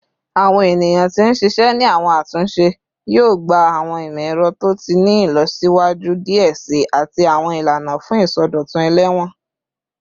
Awọn eniyan ti n ṣiṣẹ ni awọn atunṣe yoo gba awọn imọ-ẹrọ to ti ni ilọsiwaju diẹ sii ati awọn ilana fun isọdọtun elewon